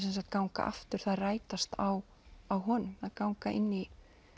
ganga aftur þær rætast á á honum og ganga inn í